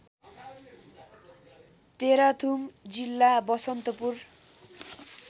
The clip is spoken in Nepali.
तेह्रथुम जिल्ला बसन्तपुर